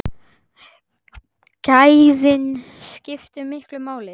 Gæðin skiptu miklu máli.